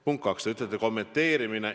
Punkt kaks, te ütlete, et kommenteerimine.